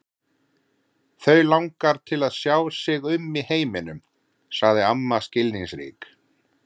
Þau langar til að sjá sig um í heiminum sagði amma skilningsrík.